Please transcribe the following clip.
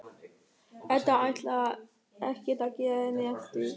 Edda ætlar ekkert að gefa henni eftir.